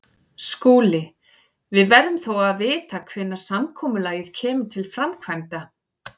SKÚLI: Við verðum þó að vita hvenær samkomulagið kemur til framkvæmda.